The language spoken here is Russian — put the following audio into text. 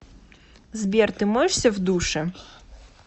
сбер ты моешься в душе